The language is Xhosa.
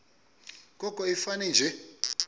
koko ifane nje